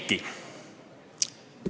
Eiki.